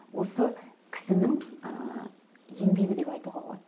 осы кісінің ыыы еңбегі деп айтуға болады